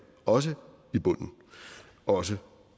også i bunden og også